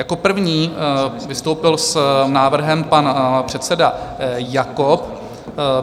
Jako první vystoupil s návrhem pan předseda Jakob.